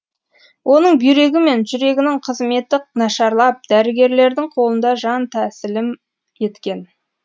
оның бүйрегі мен жүрегінің қызметі нашарлап дәрігерлердің қолында жан тәсілім еткен